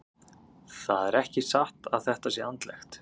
Það er ekki satt að þetta sé andlegt.